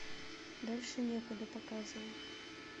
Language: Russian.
дальше некуда показывай